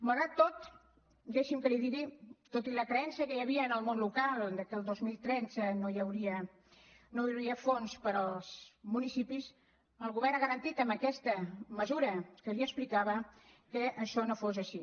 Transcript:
malgrat tot deixi’m que li ho digui tot i la creença que hi havia en el món local que el dos mil tretze no hi hauria fons per als municipis el govern ha garantit amb aquesta mesura que li explicava que això no fos així